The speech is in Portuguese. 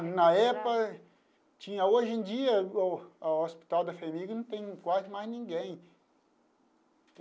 Na época tinha, hoje em dia, o o Hospital da FHEMIG não tem quase mais ninguém.